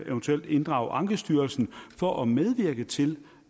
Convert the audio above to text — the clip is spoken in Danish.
eventuelt inddrage ankestyrelsen for at medvirke til